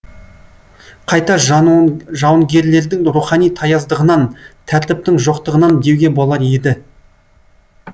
қайта жауынгерлердің рухани таяздығынан тәртіптің жоқтығынан деуге болар еді